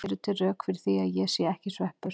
Eru til rök fyrir því að ég sé ekki sveppur?